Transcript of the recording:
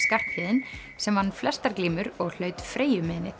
s k sem vann flestar glímur og hlaut